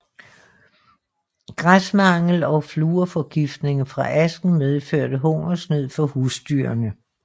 Græsmangel og fluorforgiftning fra asken medførte hungersnød for husdyrene